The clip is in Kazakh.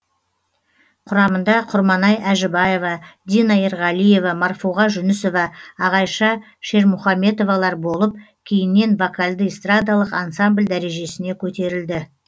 құрамында құрманай әжібаева дина ерғалиева марфуға жүнісова ағайша шермұхамбетовалар болып кейіннен вокальды эстрадалық ансамбль дәрежесіне көтерілді